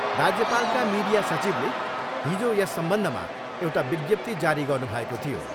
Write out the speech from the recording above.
राज्यपालका media सचिवले हिजो यस सम्बन्धमा एउटा विज्ञप्ति जारी गर्नुभएको थियो।